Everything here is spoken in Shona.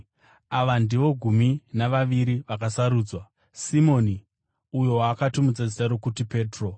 Ava ndivo gumi navaviri vaakasarudza: Simoni (uyo waakatumidza zita rokuti Petro),